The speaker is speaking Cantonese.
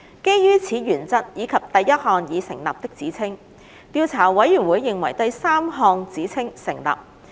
基於此原則以及第一項已成立的指稱，調查委員會認為第三項指稱成立。